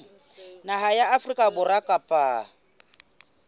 naha ya afrika borwa kapa